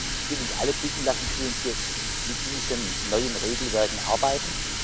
Ich will uns alle bitten Lassen Sie uns jetzt mit diesen neuen Regelwerken arbeiten.